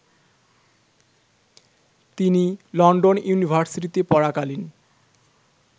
তিনি লন্ডন ইউনিভার্সিটিতে পড়াকালীন